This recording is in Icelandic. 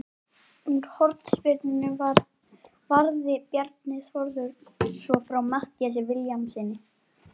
Úr hornspyrnunni varði Bjarni Þórður svo frá Matthíasi Vilhjálmssyni.